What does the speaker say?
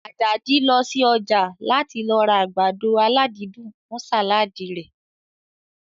Àjàdí lọ sí ọjà láti lọ ra àgbàdo aládídùn fún sàládì rẹ̀